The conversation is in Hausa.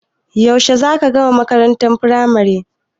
Yaushe za ka gama makarantar firamari?